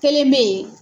Kelen be yen